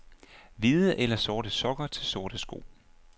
Hvide eller sorte sokker til sorte sko.